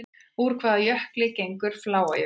Úr hvaða jökli gengur Fláajökull?